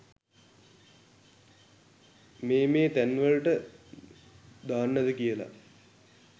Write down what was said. මේ මේ තැන් වලට දාන්නද කියලා.